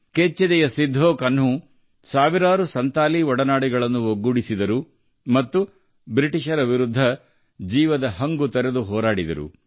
ವೀರ್ ಸಿಧು ಕನ್ಹು ಸಹಸ್ರಾರು ಸಂತಾಲ್ ದೇಶಬಾಂಧವರನ್ನು ಒಗ್ಗೂಡಿಸಿ ಬ್ರಿಟಿಷರ ವಿರುದ್ಧ ತಮ್ಮೆಲ್ಲ ಶಕ್ತಿಯಿಂದ ಹೋರಾಡಿದರು